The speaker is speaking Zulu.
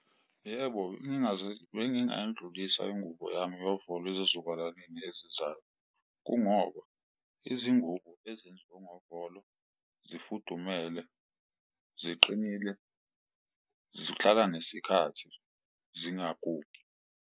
Yebo, bengingayidlulisela ingubo yami yovolo ezizukulwaneni ezizayo, kungoba izingubo ezenziwe ngovolo zifudumele, ziqinile, zihlala nesikhathi zingagugi.